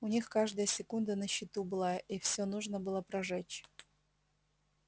у них каждая секунда на счету была и всё нужно было прожечь